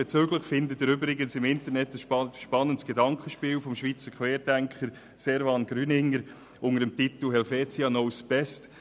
Dazu finden Sie übrigens im Internet ein spannendes Gedankenspiel des Schweizer Querdenkers Servan Grüninger mit dem Titel «Helvetia knows best».